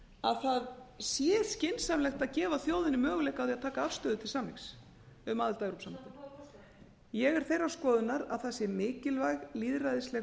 að það sé skynsamlegt að gefa þjóðinni möguleika á því að taka afstöðu til samnings um aðild að evrópusambandinu ég er þeirrar skoðunar að það sé mikilvæg lýðræðisleg